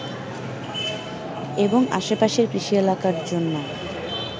এবং আশেপাশের কৃষি এলাকার জন্য